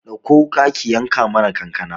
Ɗakko wuƙa ki yanka mana kankana